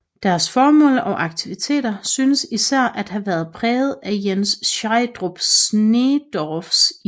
Deres formål og aktiviteter synes især at have været præget af Jens Schielderup Sneedorffs ideer